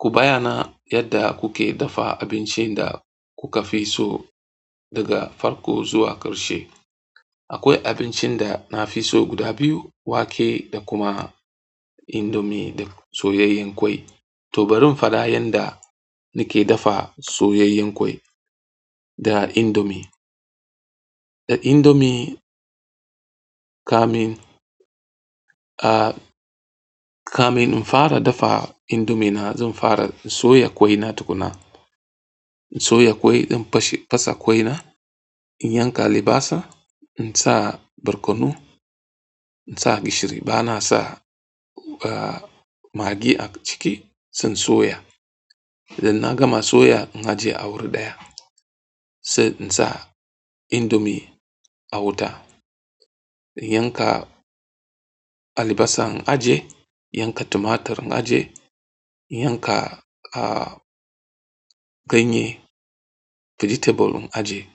Ku bayyana yadda kuke dafa abincin da kuka fi so daga karfo zuwa ƙarshe. Akwai abincin da na fi so guda biyu, wake da kuma indomie da soyayyen ƙwai. To bari in faɗa yanda nake dafa soyayyen ƙwai da indomie. Da indomie, kamin, ah, kamin in fara dafa indomie na zan fara in soya ƙwai na tukuna. In soya ƙwai, in fashe fasa ƙwai na, in yanka albasa, in sa barkono, in sa gishiri. Bana sa. Ah magi a ciki zan soya. Idan na gama soya, in a je a wuri ɗaya sai in sa indomie a wuta. In yanka albasa, in ajiye. In yanka tumatir, in ajiye. In yanka, ah, ganye, vegetable in ajiye.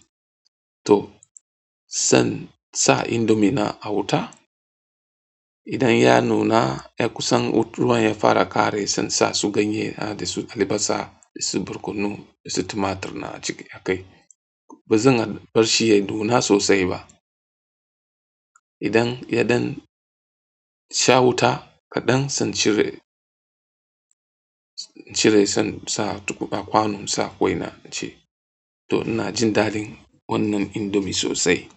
To sai in sa indomie na a wuta. Idan ya nuna, ya kusan ruwan ya fara ƙare, sai in sa su ganye da su albasa da su barkono da su tumatir na a ciki a kai. Ba zan barshi ya duna sosai ba. Idan yaɗan sha wuta kaɗan sai in cire, in cire sai sa kwanon sa ƙwai na in ci. To ina jin daɗin wannan indomie sosai.